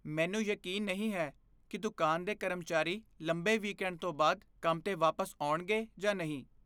ਮੈਨੂੰ ਯਕੀਨ ਨਹੀਂ ਹੈ ਕਿ ਦੁਕਾਨ ਦੇ ਕਰਮਚਾਰੀ ਲੰਬੇ ਵੀਕਐਂਡ ਤੋਂ ਬਾਅਦ ਕੰਮ 'ਤੇ ਵਾਪਸ ਆਉਣਗੇ ਜਾਂ ਨਹੀਂ।